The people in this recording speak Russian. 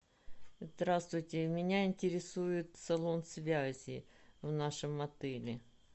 здравствуйте меня интересует салон связи в нашем отеле